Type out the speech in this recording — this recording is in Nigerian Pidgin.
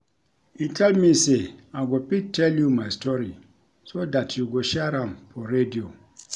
He tell me say I go fit tell you my story so dat you go share am for radio